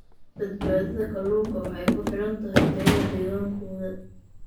Badbaadada kalluunka waxay ku xidhan tahay tayada deegaankooda.